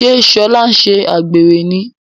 ṣe Shola nṣe àgbèrè ní?